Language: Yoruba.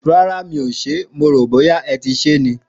Ràrá o, mó ròpẹ́, ẹti se ni.